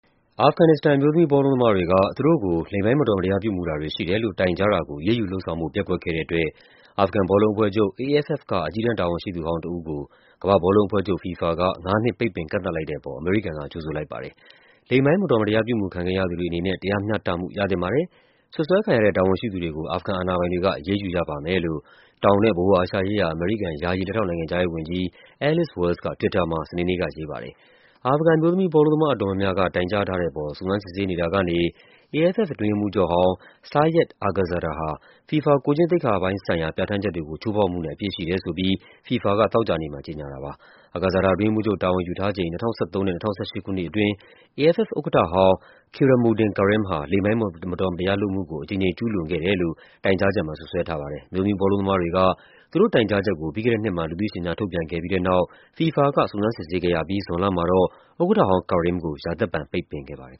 အာဖဂန်နစ္စတန် အမျိုးသမီး ဘောလုံးသမားတွေက သူတို့ကို လိင်ပိုင်း မတော်မတရား ပြုမူတာတွေ ရှိတယ်လို့ တိုင်ကြားတာကို အရေးယူလုပ်ဆောင်ဖို့ ပျက်ကွက်ခဲ့တဲ့အတွက် အာဖဂန်ဘောလုံးအဖွဲ့ချုပ် (AFF) က အကြီးတန်း တာဝန်ရှိသူဟောင်းတဦးကို ကမ္ဘာ့ဘောလုံးအဖွဲ့ချုပ် (FIFA) က ၅ နှစ် ပိတ်ပင်ကန့်သတ်လိုက်တဲ့အပေါ် အမေရိကန်က ကြိုဆိုလိုက်ပါတယ်။ “လိင်ပိုင်းမတော်မတရား ပြုမူခံခဲ့ရသူတွေအနေနဲ့ တရားမျှတမှု ရသင့်ပါတယ်၊ စွပ်စွဲခံရတဲ့ တာဝန်ရှိသူတွေကို အာဖဂန်အာဏာပိုင်တွေက အရေးယူရပါမယ်” လို့ တောင်နဲ့ ဗဟိုအာရှရေးရာ အမေရိကန် ယာယီ လက်ထောက်နိုင်ငံခြားရေးဝန်ကြီး Alice Wells က Twitter မှာ စနေနေ့က ရေးပါတယ်။ အာဖဂန် အမျိုးသမီးဘောလုံးသမား အတော်များများက တိုင်ကြားထားတဲ့အပေါ် စုံစမ်းစစ်ဆေးနေတာကနေ AFF အတွင်းရေးမှူးချုပ်ဟောင်း Sayed Aghazada ဟာ FIFA ကိုယ်ကျင့်သိက္ခာပိုင်းဆိုင်ရာ ပြဋ္ဌာန်းချက်တွေကို ချိုးဖောက်မှုနဲ့ အပြစ်ရှိတယ်ဆိုပြီး FIFA က သောကြာနေ့မှာ ကြေညာခဲ့တာပါ။ Aghazada အတွင်းရေးမှူးချုပ်တာဝန် ယူထားချိန် ၂၀၁၃ နဲ့ ၂၀၁၈ ခုနှစ်အတွင်း AFF ဥက္ကဋ္ဌဟောင်း Keramuudin Karim ဟာ လိင်ပိုင်း မတော်မတရားလုပ်မှုကို အကြိမ်ကြိမ် ကျူးလွန်ခဲ့တယ်လို့ တိုင်ကြားချက်မှာ စွပ်စွဲထားပါတယ်။ အမျိုးသမီး ဘောလုံးသမားတွေက သူတို့တိုင်ကြားချက်ကို ပြီးခဲ့တဲ့နှစ်မှာ လူသိရှင်ကြား ထုတ်ပြန်ခဲ့ပြီးတဲ့နောက် FIFA က စုံစမ်းစစ်ဆေးခဲ့ရပြီး ဇွန်လမှာတော့ ဥက္ကဋ္ဌဟောင်း Karim ကို ရာသက်ပန် ပိတ်ပင်ခဲ့ပါတယ်